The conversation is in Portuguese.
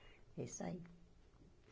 É isso aí.